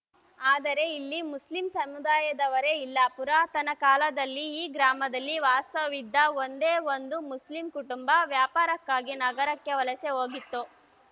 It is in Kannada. ಆದರೆ ಇಲ್ಲಿ ಮುಸ್ಲಿಂ ಸಮುದಾಯದವರೇ ಇಲ್ಲ ಪುರಾತನ ಕಾಲದಲ್ಲಿ ಈ ಗ್ರಾಮದಲ್ಲಿ ವಾಸವಿದ್ದ ಒಂದೇ ಒಂದು ಮುಸ್ಲಿಂ ಕುಟುಂಬ ವ್ಯಾಪಾರಕ್ಕಾಗಿ ನಗರಕ್ಕೆ ವಲಸೆ ಹೋಗಿತ್ತು